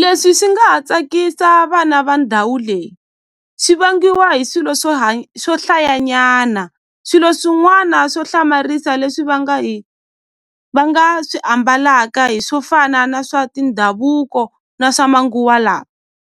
Leswi swi nga ha tsakisa vana va ndhawu leyi swi vangiwa hi swilo swo swo hlayanyana swilo swin'wana swo hlamarisa leswi va nga hi va nga swi ambalaka hi swo fana na swa tindhavuko na swa manguva lawa